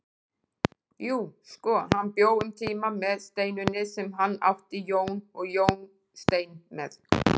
Jú, sko, hann bjó um tíma með Steinunni sem hann átti Jón og Jóstein með.